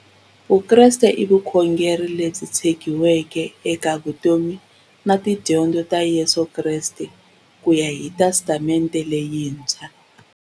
Vukreste i vukhongeri lebyi tshegiweke eka vutomi na tidyondzo ta Yesu Kreste kuya hi Testamente leyintshwa.